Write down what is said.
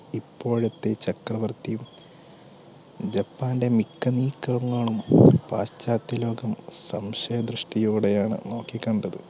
ഇപ്പോഴത്തെ ചക്രവർത്തിയും ജപ്പാന്റെ മിക്ക നീക്കങ്ങളും പാശ്ചാത്യലോകം സംശയ ദൃഷ്ടിയോടെയാണ് നോക്കി കണ്ടത്